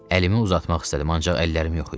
Əlimi uzatmaq istədim, ancaq əllərim yox idi.